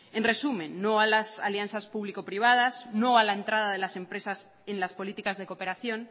en resumen no a las alianzas público privadas no a la entrada de las empresas en las políticas de cooperación